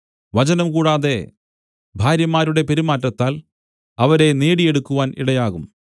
വചനം കൂടാതെ ഭാര്യമാരുടെ പെരുമാറ്റത്താൽ അവരെ നേടിയെടുക്കുവാൻ ഇടയാകും